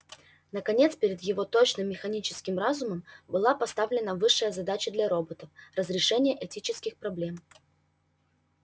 наконец перед его точным механическим разумом была поставлена высшая задача для роботов разрешение этических проблем